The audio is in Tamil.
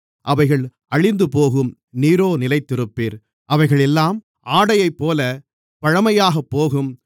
அவைகள் அழிந்துபோகும் நீரோ நிலைத்திருப்பீர் அவைகள் எல்லாம் ஆடைபோலப் பழைமையாகப்போகும்